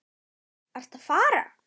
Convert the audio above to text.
Ertu að fara?